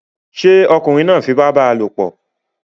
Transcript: ṣé ọkunrin fi ipá bá a lòpọ̀?